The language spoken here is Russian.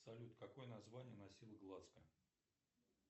салют какое название носил глазго